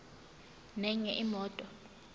nenye imoto